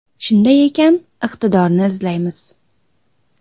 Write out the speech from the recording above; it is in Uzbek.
Shunday ekan, iqtidorni izlaymiz.